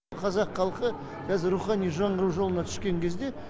қазақ халқы қазір рухани жаңғыру жолына түскен кезде